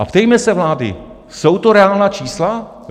A ptejme se vlády: Jsou to reálná čísla?